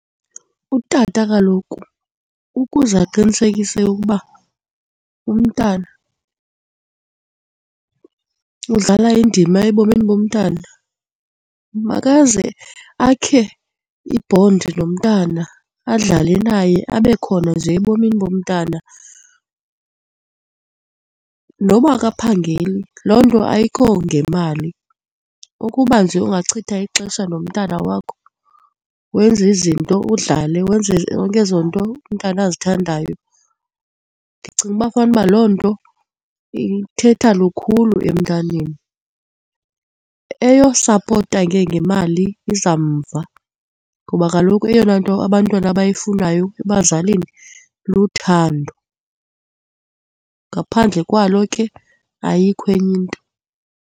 Utata kaloku ukuze aqinisekise ukuba umntana, udlala indima ebomini bomntana makaze akhe ibhondi nomntana, adlale naye abe khona nje ebomini bomntana noba akaphangeli. Loo nto ayikho ngemali ukuba nje ungachitha ixesha nomntana wakho wenze izinto udlale, wenze zonke ezo nto umntana azithandayo, ndicinga uba fanuba loo nto ithetha lukhulu emntaneni. Eyosapota ke ngemali iza mva ngoba kaloku eyona nto abantwana abayifunayo ebazalini luthando, ngaphandle kwalo ke ayikho enye into.